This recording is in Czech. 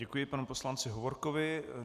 Děkuji panu poslanci Hovorkovi.